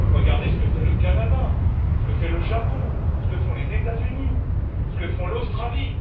Regardez ce que fait le Canada, ce que fait le Japon, ce que font les États Unis, ce que fait l'Australie.